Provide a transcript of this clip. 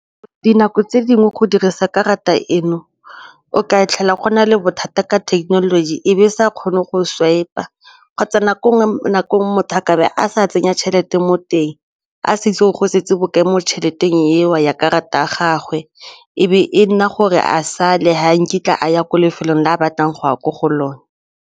Dinako tse dingwe go dirisa karata eno o ka fitlhela go na le bothata ka technology e be sa kgone go swiper kgotsa nako nngwe nakong motho a ka be a sa tsenya tšhelete mo teng a setse go setse bo ke mo tšheleteng eo ya karata a gagwe e be e nna gore a sale ga nkitla a ya ko lefelong la a batlang go ya ko go lone.